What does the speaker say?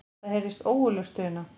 Það heyrðist ógurleg stuna.